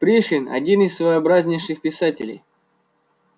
пришвин один из своеобразнейших писателей